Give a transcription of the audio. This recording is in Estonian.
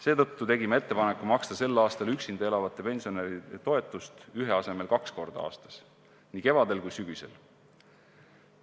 Seetõttu tegime ettepaneku maksta tänavu üksinda elavate pensionäride toetust ühe korra asemel kaks korda aastas: nii kevadel kui ka sügisel.